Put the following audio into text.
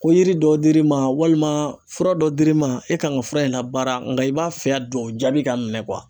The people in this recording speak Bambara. Ko yiri dɔ dir'i ma , walima fura dɔ dir'i ma e kan ka fura in labaara nka i b'a fɛ a dugawu jaabi ka minɛ